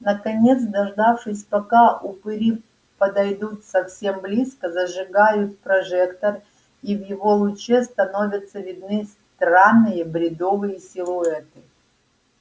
наконец дождавшись пока упыри подойдут совсем близко зажигают прожектор и в его луче становятся видны странные бредовые силуэты